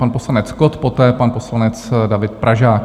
Pan poslanec Kott, poté pan poslanec David Pražák.